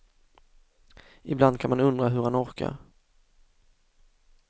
Ibland kan man undra hur han orkar.